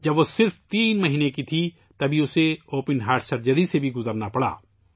جب وہ صرف تین مہینے کی تھی تبھی اسے اوپن ہارٹ سرجری سے بھی گزرنا پڑا